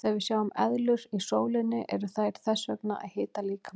Þegar við sjáum eðlur í sólinni eru þær þess vegna að hita líkamann.